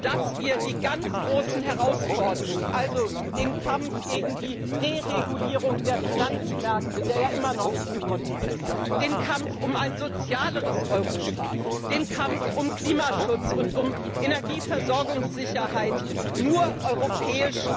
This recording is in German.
dass wir die ganz großen Herausforderungen, also den Kampf gegen die Deregulierung der Finanzmärkte, der ja immer noch nicht gewonnen ist, den Kampf um ein sozialeres Europa, den Kampf um Klimaschutz und Energieversorgungssicherheit nur gemeinsam europäisch